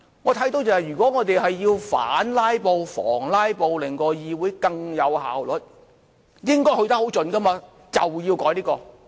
我看到如果我們要反"拉布"，防"拉布"，令到議會更有效率，應該去得很盡，便要改這些。